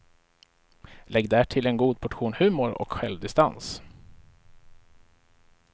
Lägg därtill en god portion humor och självdistans.